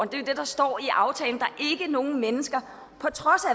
det er det der står i aftalen og nogen mennesker på trods af